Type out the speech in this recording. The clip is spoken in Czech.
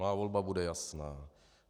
Má volba bude jasná.